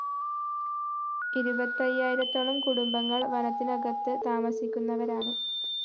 ഇരുപത്തയ്യായിരത്തോളം കുടുംബങ്ങള്‍ വനത്തിനകത്ത് താമസിക്കുന്നവരാണ്